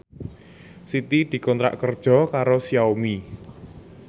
Siti dikontrak kerja karo Xiaomi